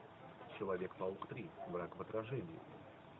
человек паук три враг в отражении